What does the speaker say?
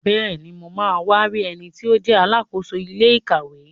Bẹ́ẹ̀ni, mo ma wá rí ẹniti ó jẹ́ Alákóso ilé ìkàwé